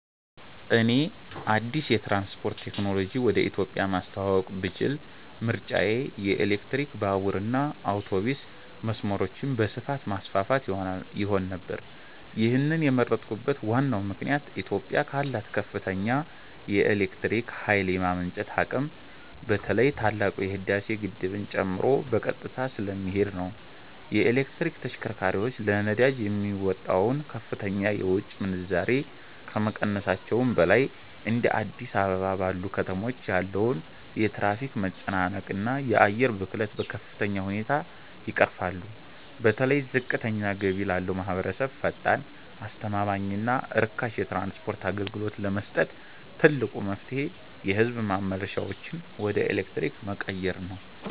እኔ አዲስ የትራንስፖርት ቴክኖሎጂ ወደ ኢትዮጵያ ማስተዋወቅ ብችል ምርጫዬ የኤሌክትሪክ ባቡርና አውቶቡስ መስመሮችን በስፋት ማስፋፋት ይሆን ነበር። ይህንን የመረጥኩበት ዋናው ምክንያት ኢትዮጵያ ካላት ከፍተኛ የኤሌክትሪክ ኃይል የማመንጨት አቅም በተለይ ታላቁ የህዳሴ ግድብን ጨምሮ በቀጥታ ስለሚሄድ ነው። የኤሌክትሪክ ተሽከርካሪዎች ለነዳጅ የሚወጣውን ከፍተኛ የውጭ ምንዛሬ ከመቀነሳቸውም በላይ፤ እንደ አዲስ አበባ ባሉ ከተሞች ያለውን የትራፊክ መጨናነቅና የአየር ብክለት በከፍተኛ ሁኔታ ይቀርፋሉ። በተለይ ዝቅተኛ ገቢ ላለው ማኅበረሰብ ፈጣን፣ አስተማማኝና ርካሽ የትራንስፖርት አገልግሎት ለመስጠት ትልቁ መፍትሔ የሕዝብ ማመላለሻዎችን ወደ ኤሌክትሪክ መቀየር ነው።